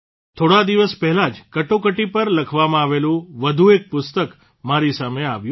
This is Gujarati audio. થોડા દિવસ પહેલાં જ કટોકટી પર લખવામાં આવેલું વધુ એક પુસ્તક મારી સામે આવ્યું